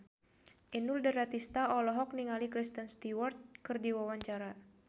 Inul Daratista olohok ningali Kristen Stewart keur diwawancara